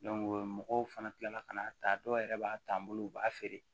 mɔgɔw fana kilala ka n'a ta dɔw yɛrɛ b'a ta n bolo u b'a feere